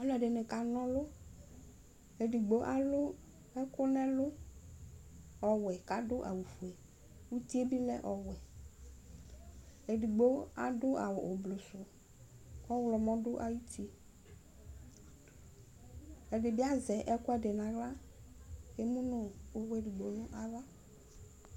Ɔlɔdɩnɩ kanɔlʋ Edigbo alu ɛkʋwɛ nʋ ɛlʋ, kʋ adu awufue, uti yɛ bɩlɛ ɔwɛ Edigbo adu awu ʋblʋ, ɔɣlɔmɔ du ayʋ uti Ɛdɩbɩ azɛ ɛkʋɛdɩ nʋ aɣla, kʋ emu nʋ uvu edigbo nʋ ava